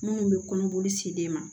Minnu bɛ kɔnɔboli se den ma